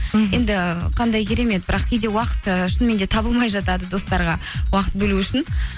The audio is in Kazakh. мхм енді қандай керемет бірақ кейде уақыт ыыы шынымен де табылмай жатады достарға уақыт бөлу үшін